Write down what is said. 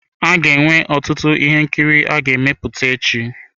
A ga-enwe ọtụtụ ihe nkiri a ga-emepụta echi.